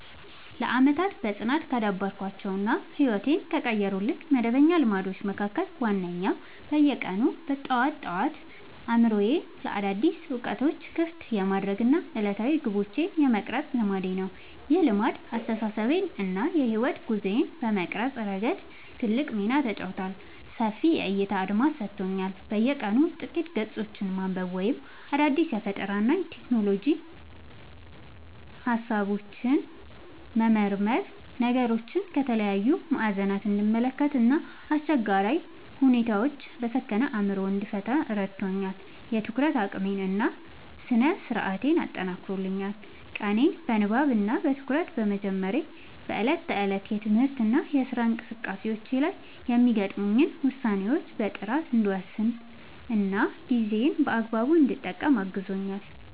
ለዓመታት በጽናት ካዳበርኳቸው እና ሕይወቴን ከቀየሩልኝ መደበኛ ልማዶች መካከል ዋነኛው በየቀኑ ጠዋት ጠዋት አእምሮዬን ለአዳዲስ እውቀቶች ክፍት የማድረግ እና ዕለታዊ ግቦቼን የመቅረጽ ልማዴ ነው። ይህ ልማድ አስተሳሰቤን እና የሕይወት ጉዞዬን በመቅረጽ ረገድ ትልቅ ሚና ተጫውቷል፦ ሰፊ የዕይታ አድማስ ሰጥቶኛል፦ በየቀኑ ጥቂት ገጾችን ማንበብ ወይም አዳዲስ የፈጠራና የሎጂክ ሃሳቦችን መመርመር ነገሮችን ከተለያዩ ማዕዘናት እንድመለከት እና አስቸጋሪ ሁኔታዎችን በሰከነ አእምሮ እንድፈታ ረድቶኛል። የትኩረት አቅሜን እና ስነ-ስርዓቴን አጠናክሯል፦ ቀኔን በንባብ እና በትኩረት በመጀመሬ በዕለት ተዕለት የትምህርትና የሥራ እንቅስቃሴዎቼ ላይ የሚገጥሙኝን ውሳኔዎች በጥራት እንድወስንና ጊዜዬን በአግባቡ እንድጠቀም አግዞኛል።